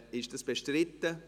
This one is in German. Ist dies bestritten?